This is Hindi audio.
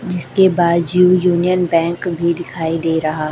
जिसके बाजू यूनियन बैंक भी दिखाई दे रहा--